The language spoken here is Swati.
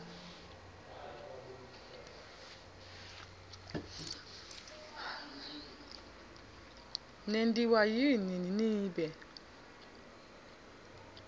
nentiwa yini nibe